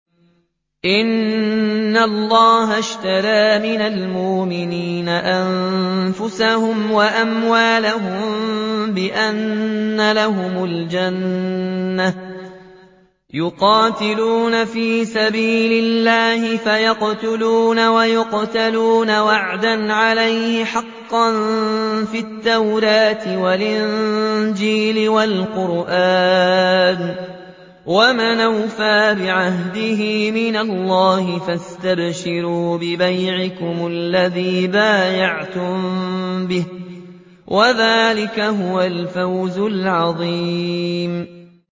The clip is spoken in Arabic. ۞ إِنَّ اللَّهَ اشْتَرَىٰ مِنَ الْمُؤْمِنِينَ أَنفُسَهُمْ وَأَمْوَالَهُم بِأَنَّ لَهُمُ الْجَنَّةَ ۚ يُقَاتِلُونَ فِي سَبِيلِ اللَّهِ فَيَقْتُلُونَ وَيُقْتَلُونَ ۖ وَعْدًا عَلَيْهِ حَقًّا فِي التَّوْرَاةِ وَالْإِنجِيلِ وَالْقُرْآنِ ۚ وَمَنْ أَوْفَىٰ بِعَهْدِهِ مِنَ اللَّهِ ۚ فَاسْتَبْشِرُوا بِبَيْعِكُمُ الَّذِي بَايَعْتُم بِهِ ۚ وَذَٰلِكَ هُوَ الْفَوْزُ الْعَظِيمُ